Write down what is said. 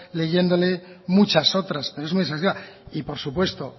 leyéndoles muchas otras pero es muy exhaustiva y por supuesto